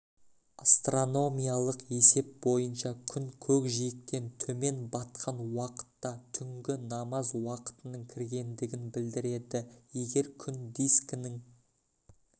астрономиялық есеп бойынша күн көкжиектен төмен батқан уақытта түнгі намаз уақытының кіргендігін білдіреді егер күн дискінің